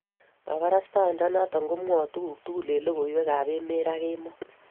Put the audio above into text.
Kabarashainde noton komwoe tuku tugul en lokoiwek ab emet raa kemboi.